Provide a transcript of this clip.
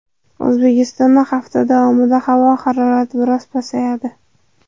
O‘zbekistonda hafta davomida havo harorati biroz pasayadi.